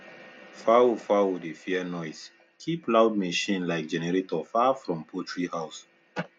fowl fowl dey fear noise keep loud machine like generator far from poultry house